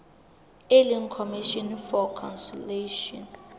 e leng commission for conciliation